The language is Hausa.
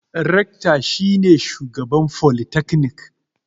Rekta shi ne shugaban folitaknik.